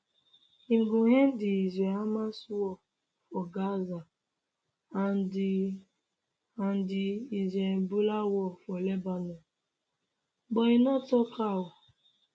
im go end di israelhamas war for gaza and di and di israelhezbollah war for lebanon but e no tok how